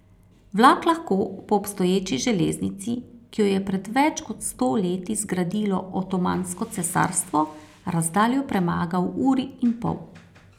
Vlak lahko po obstoječi železnici, ki jo je pred več kot sto leti zgradilo Otomansko cesarstvo, razdaljo premaga v uri in pol.